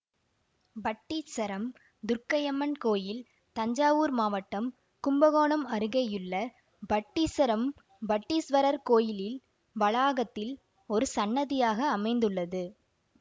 பட்டீச்சரம் துர்க்கையம்மன் கோயில் தஞ்சாவூர் மாவட்டம் கும்பகோணம் அருகேயுள்ள பட்டீச்சரம் பட்டீஸ்வரர் கோயிலில் வளாகத்தில் ஒரு சன்னதியாக அமைந்துள்ளது